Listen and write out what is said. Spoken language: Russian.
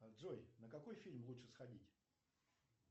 джой на какой фильм лучше сходить